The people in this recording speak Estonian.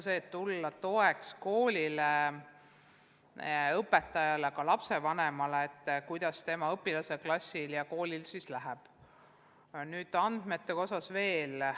Püüame tulla toeks koolile, õpetajale, lapsevanemale, et oleks teada, kuidas tema õpilasel, klassil, koolil läheb.